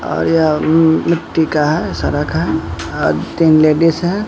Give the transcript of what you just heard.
और यह म मिट्टी का है सारा घर और तीन लेडिस है।